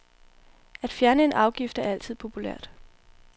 At fjerne en afgift er altid populært.